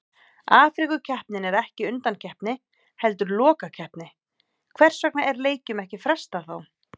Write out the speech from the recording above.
Afríkukeppnin er ekki undankeppni heldur lokakeppni, hvers vegna er leikjum ekki frestað þá?